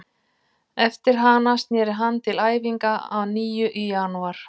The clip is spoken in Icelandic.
Eftir hana snéri hann til æfinga að nýju í janúar.